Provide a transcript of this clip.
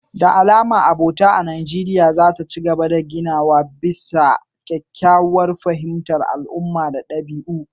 Da alama abota ta gaba a Najeriya za ta ci gaba da ginawa bisa kyakkyawar fahimtar al'umma da ɗabi'u.